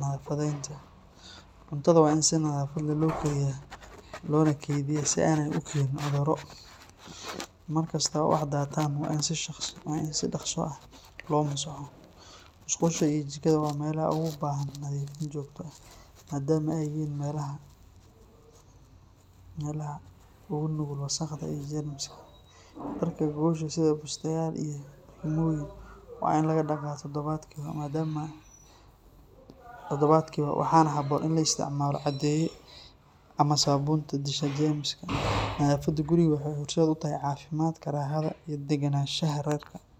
nadaafadeynta. Cuntada waa in si nadaafad leh loo kariyaa loona kaydiyaa si aanay u keenin cudurro. Mar kasta oo wax daataan waa in si dhaqso ah loo masaxo. Musqusha iyo jikada waa meelaha ugu baahan nadiifin joogto ah maadaama ay yihiin meelaha ugu nugul wasakhda iyo jeermiska. Dharka gogosha sida bustayaal iyo barkimooyin waa in la dhaqaa toddobaadkiiba, waxaana habboon in la isticmaalo caddeeye ama saabuunta disha jeermiska. Nadaafadda guriga waxay horseed u tahay caafimaadka, raaxada iyo deganaanshaha reerka.